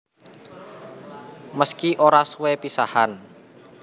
Meski ora suwe pisahan